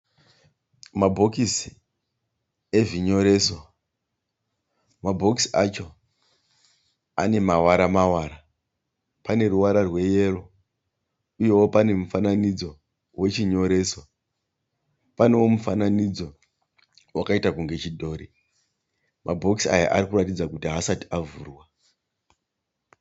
Mabhokisi ezvinyoreso. Mabhokisi acho ane mavara mavara. Pane ruvara rweyero. Uyewo pane mufananidzo wechinyoreso. Panewo mufananidzo wakaita kunge chidhori. Mabhokisi aya ari kuratidza kuti haasati avhurwa.